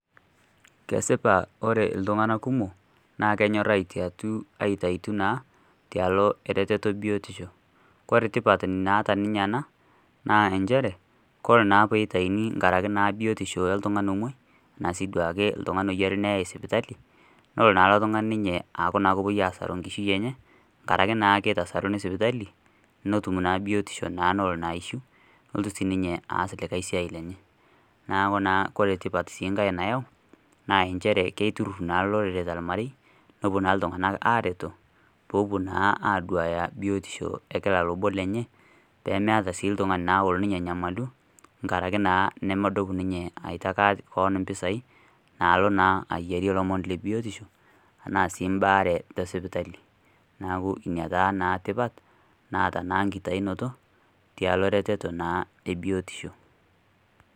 Kesipa ore ltung'ana kumok naa kenyorr aitaitu naa tialo e reteto e biotisho. Kore tipat naata ninye ana naa enchere kore naa peitaini nkaraki naa biotisho e ltung'anin omwai tanaa sii duake ltung'ani oyiari neyae sipitali nolo naa lo tung'ani ninye aaku kopuoi naa aasaru enkishui enye nkaraki naa keitasaruni naa sipitali notum naa biotisho naa nolo naa aishiu nolotu sii ninye aas likae siai lenye. Naaku naa kore sii nkae tipat nayau naa enchere keiturrurr naa lorere to lmarei nopuo naa ltung'ana aareto poopuo naa aaduaya naa biotisho e kila lobo lenye peemeatae sii ltung'ani olo ninye anyamalu nkaraki naa nomodup ninye aitaki koon mpisai naalo naa ayiarie lomon le biotisho anaa sii mbaare te sipotali. Naaku nia naa tipat naata na nkitainoto tialo retoto naa e biotisho.